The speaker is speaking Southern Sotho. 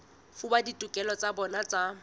fuwa ditokelo tsa bona tsa